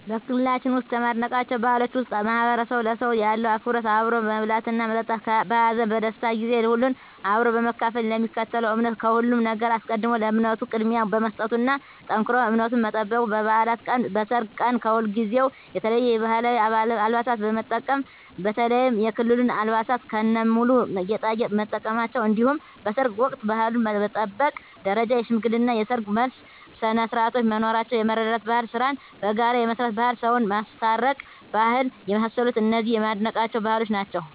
በክልላችን ውስጥ ከማደንቃቸው ባህሎች ውስጥ ማህበረሰቡ ለሰው ያለው አክብሮት አብሮ መብላትና መጠጣት በሀዘን በደስታ ጊዜ ሁሉንም አብሮ በመካፈል ለሚከተለው እምነት ከሁሉም ነገር አስቀድሞ ለእምነቱ ቅድሚያ መስጠቱና ጠንክሮ እምነቱን መጠበቁ በባዕላት ቀን በሰርግ ቀን ከሁልጊዜው የተለየ የባህላዊ አልባሳትን የመጠቀም በተለይም የክልሉን አልባሳት ከነሙሉ ጌጣጌጥ መጠቀማቸው እንዲሁም በሰርግ ወቅት ባህሉን በጠበቀ ደረጃ የሽምግልና የሰርግ የመልስ ስነስርዓቶች መኖራቸው የመረዳዳት ባህል ስራን በጋራ የመስራት ባህል ሰውን የማስታረቅ ባህል የመሳሰሉት እነዚህ የማደንቃቸው ባህሎች ናቸዉ።